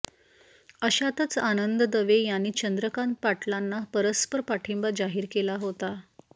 अशातच आनंद दवे यांनी चंद्रकांत पाटलांना परस्पर पाठिंबा जाहीर केला होता